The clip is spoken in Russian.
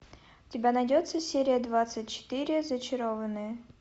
у тебя найдется серия двадцать четыре зачарованные